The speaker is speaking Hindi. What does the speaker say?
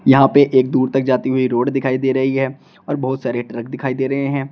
यहां पे एक दूर तक जाती हुई रोड दिखाई दे रही है और बहुत सारे ट्रक दिखाई दे रहे हैं।